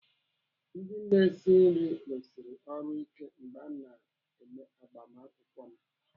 Ndị na-esi nri rusiri ọrụ ike n'agbamakwụkwọ m.